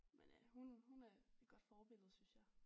Men øh hun hun er et godt forbillede synes jeg